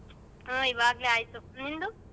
ಹಾ ಈವಾಗ್ಲೇ ಆಯ್ತು ನಿಂದು?